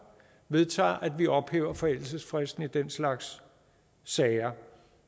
vedtager at vi ophæver forældelsesfristen i den slags sager